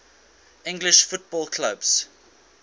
english football clubs